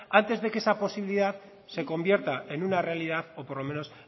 antes de que esa posibilidad se convierta en una realidad o por lo menos